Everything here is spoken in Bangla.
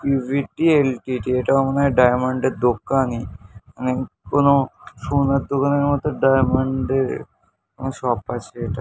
পি.ভি.টি. এল.টি.টি. এটা মনে হয় ডায়মন্ড -এর দোকানই। মানে কোনো সোনার দোকানের মতো ডায়মন্ড -এর কোনো শপ আছে এটা।